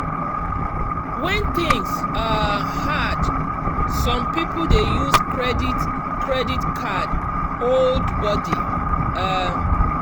when things um hard some people dey use credit credit card hold body. um